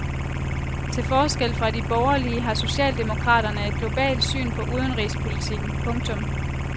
Til forskel fra de borgerlige har socialdemokraterne et globalt syn på udenrigspolitikken. punktum